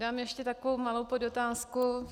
Dám ještě takovou malou podotázku.